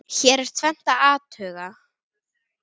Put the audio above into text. Hér er tvennt að athuga.